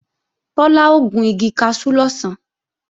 Tọ́lá ó gun igi kaṣú lọ̀sán